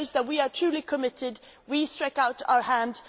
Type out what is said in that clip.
It shows that we are truly committed, we stuck out our hands.